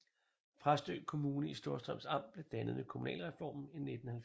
Præstø Kommune i Storstrøms Amt blev dannet ved kommunalreformen i 1970